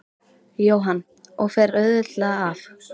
Jóhann: Og fer auðveldlega af?